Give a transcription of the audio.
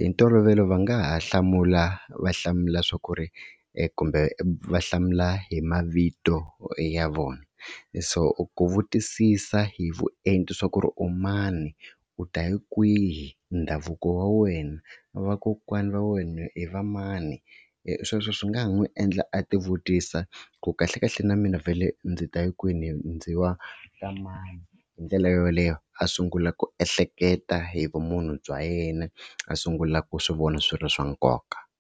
hi ntolovelo va nga ha hlamula va hlamula swa ku ri kumbe va hlamula hi mavito ya vona. So ku vutisisa hi vuenti swa ku ri u mani, u ta hi kwihi, ndhavuko wa wena vakokwana va wena hi va mani hi sweswo swi nga ha n'wi endla a ti vutisa ku kahlekahle na mina vhele ndzi ta hi kwini ndzi wa ka mani hi ndlela yoleyo a sungula ku ehleketa hi vumunhu bya yena a sungula ku swi vona swi ri swa nkoka.